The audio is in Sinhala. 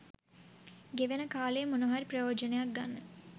ගෙවෙන කාලයෙන් මොනවා හරි ප්‍රයොජනයක් ගන්න